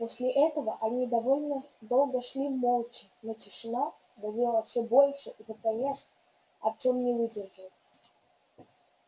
после этого они довольно долго шли молча но тишина давила всё больше и под конец артём не выдержал